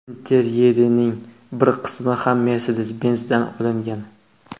Interyerining bir qismi ham Mercedes-Benz’dan olingan.